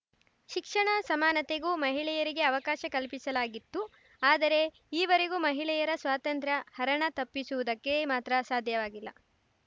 ಶಿಕ್ಷಣ ಸಮಾನತೆಗೂ ಮಹಿಳೆಯರಿಗೆ ಅವಕಾಶ ಕಲ್ಪಿಸಲಾಗಿತ್ತು ಆದರೆ ಈವರೆಗೂ ಮಹಿಳೆಯರ ಸ್ವಾತಂತ್ರ್ಯ ಹರಣ ತಪ್ಪಿಸುವುದಕ್ಕೆ ಮಾತ್ರ ಸಾಧ್ಯವಾಗಿಲ್ಲ